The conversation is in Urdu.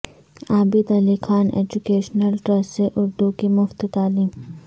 عابد علی خان ایجوکیشنل ٹرسٹ سے اردو کی مفت تعلیم